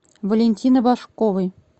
валентины башковой